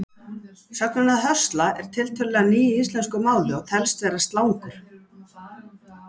Sögnin að höstla er tiltölulega ný í íslensku máli og telst vera slangur.